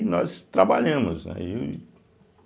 E nós trabalhamos, né.